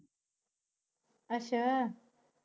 ਅੱਛਾ।